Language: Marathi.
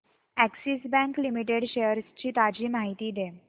अॅक्सिस बँक लिमिटेड शेअर्स ची ताजी माहिती दे